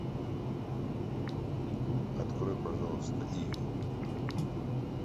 открой пожалуйста иви